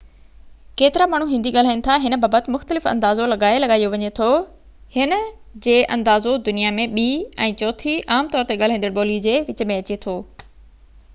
ڪيترا ماڻهو هندي ڳالهائين ٿا هن بابت مختلف اندازو لڳائي لڳايو وڃي ٿو هن جي اندازو دنيا ۾ ٻي ۽ چوٿين عام طور تي ڳالهائيندڙ ٻولي جي وچ ۾ اچي ٿو